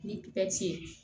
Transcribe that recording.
Ni pɛti ye